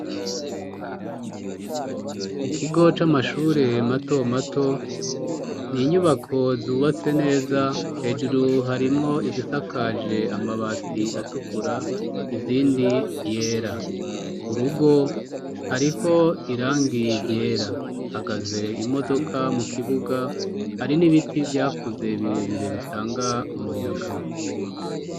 Mu kigo c'amashure mato mato n'inyubako zubatse neza, hejuru harimwo izisakaje amabati atukura izindi yera, ku rugo hariho irangi ryera hahagaze imodoka mu kibuga, hari n'ibiti vyakuze birebire bitanga umuyaga.